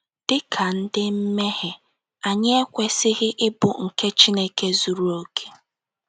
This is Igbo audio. Dị ka ndị mmehie, anyị ekwesịghị ịbụ nke Chineke zuru okè.